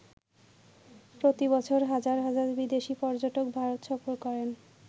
প্রতি বছর হাজার হাজার বিদেশি পর্যটক ভারত সফর করেন।